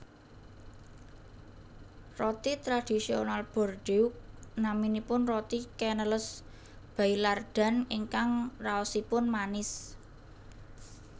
Roti tradisional Bordeaux naminipun roti Canneles Baillardan ingkang raosipun manis